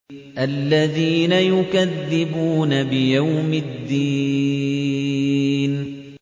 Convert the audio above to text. الَّذِينَ يُكَذِّبُونَ بِيَوْمِ الدِّينِ